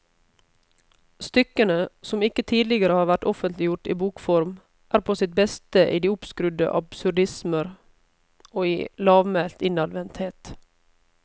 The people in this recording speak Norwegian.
Stykkene, som ikke tidligere har vært offentliggjort i bokform, er på sitt beste i de oppskrudde absurdismer og i lavmælt innadvendthet.